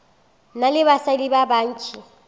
na le basadi ba bantši